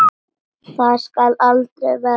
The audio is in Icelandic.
Það skal aldrei verða!